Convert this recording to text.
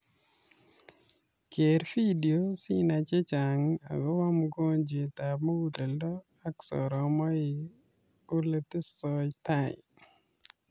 Keer video si nai chechang agobaa mongojwent ab mugulledo ak soromaik oletesataito